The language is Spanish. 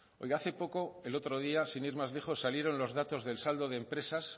oiga hace poco el otro día sin ir más lejos salieron los datos del saldo de empresas